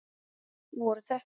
Það gengur bara betur næst.